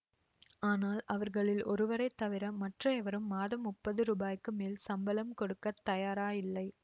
ஆனால் அவர்களில் ஒருவரை தவிர மற்ற எவரும் மாதம் முப்பது ரூபாய்க்கு மேல் சம்பளம் கொடுக்க தயாராயில்லை